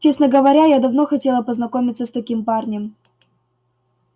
честно говоря я давно хотела познакомиться с таким парнем